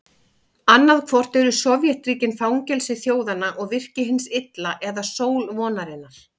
Annaðhvort eru Sovétríkin fangelsi þjóðanna og virki hins illa eða sól vonarinnar.